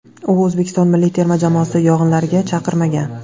U O‘zbekiston milliy terma jamoasi yig‘inlariga chaqirilmagan.